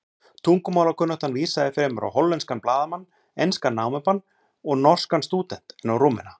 Tungumálakunnáttan vísaði fremur á hollenskan blaðamann, enskan námumann og norskan stúdent en á Rúmena.